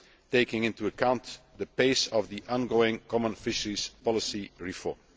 taking into account the pace of the ongoing common fisheries policy reform.